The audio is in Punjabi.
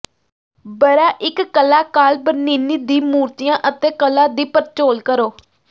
ਬਰਾਇਕ ਕਲਾਕਾਰ ਬਰਨੀਨੀ ਦੀ ਮੂਰਤੀਆਂ ਅਤੇ ਕਲਾ ਦੀ ਪੜਚੋਲ ਕਰੋ